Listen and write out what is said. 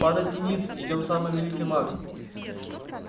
падайте ниц идём самый великий маг